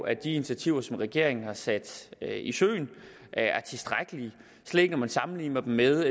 at de initiativer som regeringen har sat i søen er tilstrækkelige slet ikke når man sammenligner dem med